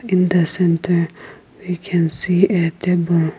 in the center we can see a table.